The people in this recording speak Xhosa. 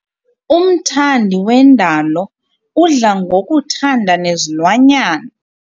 Umthandi wendalo udla ngokuthanda nezilwanyana.